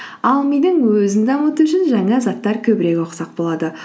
ал мидың өзін дамыту үшін жаңа заттар көбірек оқысақ болады